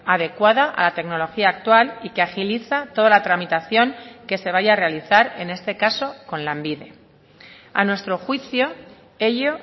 adecuada a la tecnología actual y que agiliza toda la tramitación que se vaya a realizar en este caso con lanbide a nuestro juicio ello